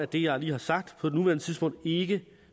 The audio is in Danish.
det jeg lige har sagt på nuværende tidspunkt ikke